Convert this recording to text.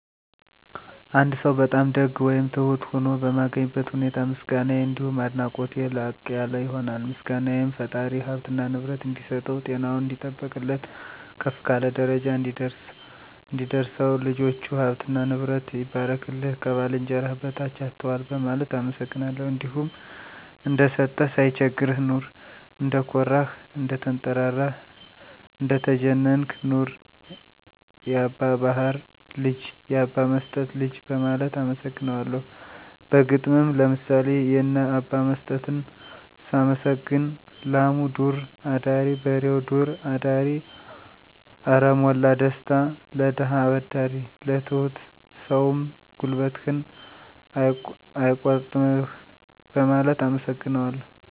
አንድ ሰው በጣም ደግ ወይም ትሁት ሆኖ በማገኝበት ሁኔታ ምስጋናየ አንዲሁም አድናቆቴ ላቅ ያለ ይሆናል። ምስጋናየም ፈጣሪ ሀብትና ንብረት እንዲሰጠው፣ ጤናውን እንዲጠብቅለት፣ ከፍ ካለ ደረጃ እንዲያደርሰው፣ ልጆቹ፥ ሀብትና ንብረቱ ይባርክልህ፣ ከባልንጀራህ በታች አትዋል በማለት አመሰግናለሁ። እንዲሁም እንደሰጠህ ሳይቸግርህ ኑር፣ እንደኮራህ፥ እንደተንጠራራህ እንደተጀነንክ ኑር፣ ያባ ባሀር ልጅ፥ ያባ መስጠት ልጅ በማለት አመሰግነዋለሁ። በግጥምም ለምሳሌ የነ አባ መስጠትን ሳመሰግን፦ ላሙ ዱር አዳሪ በሬው ዱር አዳሪ አረ ሞላ ደስታ ለደሀ አበዳሪ። ለትሁት ሰውም ጉልበትህን አይቆርጥምህ በማለት አመሰግነዋለሁ።